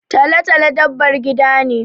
Talo-talo dabbar gida ne.